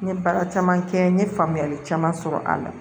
N ye baara caman kɛ n ye faamuyali caman sɔrɔ a la